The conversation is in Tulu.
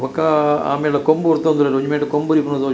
ಬೊಕ್ಕ ಆಮೇಟ್ ದ ಕೊಂಬು ಉರ್ತುಂದು ಒಂಜಿ ಮೈಟ್ ಕೋಬು ಉರಿಪುನ ತೋಜುಂಡು.